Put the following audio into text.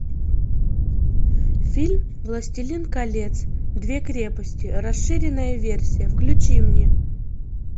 фильм властелин колец две крепости расширенная версия включи мне